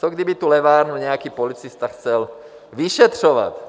Co kdyby tu levárnu nějaký policista chtěl vyšetřovat?